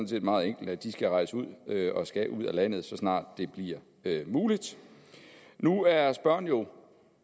set meget enkelt de skal rejse ud skal ud af landet så snart det bliver muligt nu er spørgeren jo